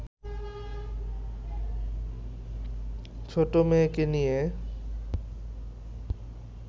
ছোট মেয়েকে নিয়ে